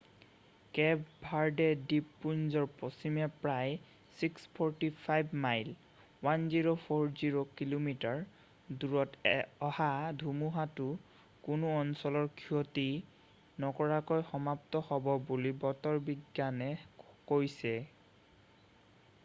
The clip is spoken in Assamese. কেপ ভাৰ্দে দ্বীপপুঞ্জৰ পশ্চিমে প্ৰায় 645 মাইল 1040 কিলোমিটাৰ দূৰত অহা ধুমুহাতো কোনো অঞ্চলৰ ক্ষতি নকৰাকৈ সমাপ্ত হ'ব বুলি বতৰবিজ্ঞানে কৈছে।